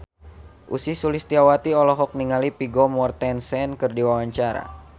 Ussy Sulistyawati olohok ningali Vigo Mortensen keur diwawancara